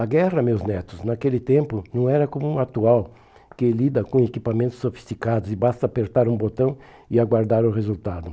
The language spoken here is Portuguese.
A guerra, meus netos, naquele tempo não era como a atual, que lida com equipamentos sofisticados e basta apertar um botão e aguardar o resultado.